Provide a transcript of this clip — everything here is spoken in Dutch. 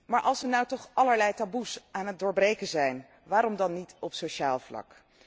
Maar als we nu toch allerlei taboes aan het doorbreken zijn, waarom dan niet op sociaal vlak?